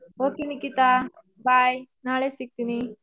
Okay Nikhita bye ನಾಳೆ ಸಿಕ್ತೀನಿ.